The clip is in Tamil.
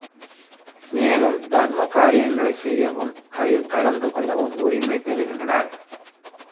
மேலும் தர்ம காரியங்களை செய்யவும் அதில் கலந்து கொள்ளவும் உரிமை பெறுகின்றனர்